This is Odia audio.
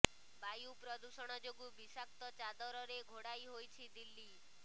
ବାୟୁ ପ୍ରଦୂଷଣ ଯୋଗୁଁ ବିଷାକ୍ତ ଚାଦରରେ ଘୋଡାଇ ହୋଇ ରହିଛି ଦିଲ୍ଲୀ